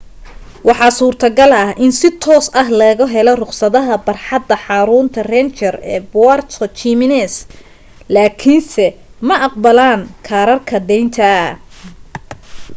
waxaa suurta-gal ah in si toos ah looga helo rukhsadaha barxadda xarunta ranger ee puerto jiménez laakiinse ma aqbalaan kaararka deynta